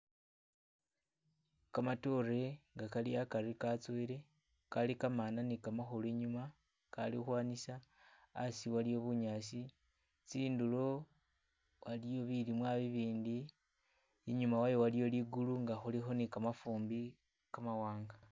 Kmatoore nga kali akari katsowele kali kamaana ne kamakhulu inyuma akali ukhwanisa, asi waliyo bunyaasi, tsindulo waliyo bilimwa bibindi, inyuma wayo waliyo ligulu nga khulikho ne kamafumbi kamawanga